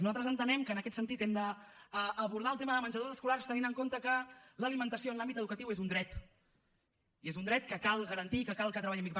nosaltres entenem que en aquest sentit hem d’abordar el tema dels menjadors escolars tenint en compte que l’alimentació en l’àmbit educatiu és un dret i és un dret que cal garantir i que cal que treballem aquí